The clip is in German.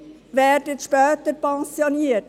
Sie werden später pensioniert.